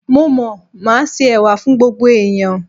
Mo mọ̀, màá se Ẹ̀wà fún gbogbo ẹ̀yàn.